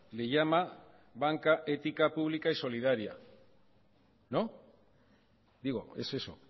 le llama banca ética pública y solidaria no digo es eso